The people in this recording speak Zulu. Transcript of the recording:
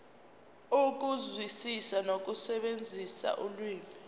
ukuzwisisa nokusebenzisa ulimi